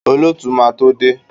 Olóòtú máa tó dé.